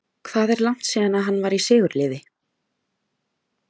Hvað er langt síðan að hann var í sigurliði?